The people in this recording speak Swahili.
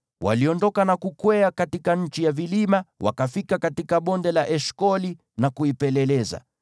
Waliondoka na kukwea katika nchi ya vilima, wakafika katika Bonde la Eshkoli na kuipeleleza.